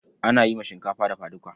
Ana yi ma shinkafa dafa duka.